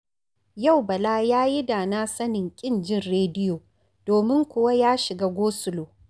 Yau Bala ya yi da na sanin ƙin jin rediyo, domin kuwa ya shiga gosulo